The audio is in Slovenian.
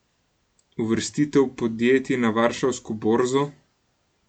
Uvrstitev podjetij na varšavsko borzo?